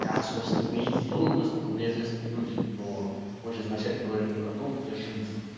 как собственно и делают насколько мне известные люди но мы же изначально говорили про то где жить